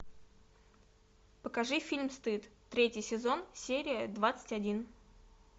покажи фильм стыд третий сезон серия двадцать один